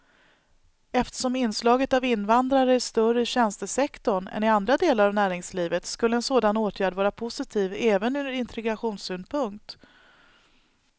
Eftersom inslaget av invandrare är större i tjänstesektorn än i andra delar av näringslivet skulle en sådan åtgärd vara positiv även ur integrationssynpunkt.